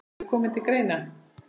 hafi komið til greina.